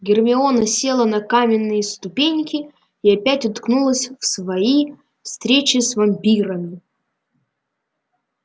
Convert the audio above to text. гермиона села на каменные ступеньки и опять уткнулась в свои встречи с вампирами